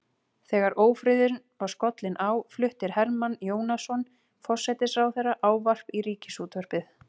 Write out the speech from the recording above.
Þegar ófriðurinn var skollinn á flutti Hermann Jónasson forsætisráðherra ávarp í ríkisútvarpið.